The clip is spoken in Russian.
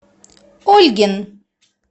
ольгин